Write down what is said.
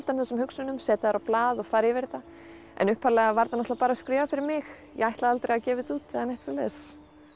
þessum hugsunum setja þær á blað og fara yfir þetta en upphaflega var þetta bara skrifað fyrir mig ég ætlaði aldrei að gefa þetta út eða neitt svoleiðis